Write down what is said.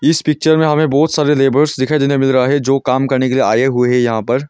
इस पिक्चर में हमें बहोत सारे लेबर्स दिखाई देने मिल रहा हैं जो काम करने लिए आए हुए है यहां पर--